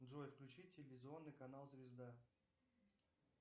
джой включи телевизионный канал звезда